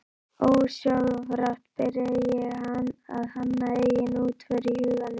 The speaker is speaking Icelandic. Ósjálfrátt byrja ég að hanna eigin útför í huganum